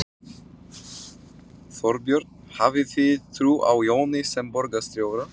Þorbjörn: Hafið þið trú á Jóni sem borgarstjóra?